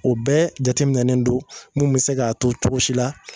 o bɛɛ jateminɛnen don mun be se k'a to cogo si la